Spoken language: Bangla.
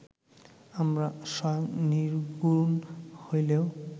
আমরা স্বয়ং নির্গুণ হইলেও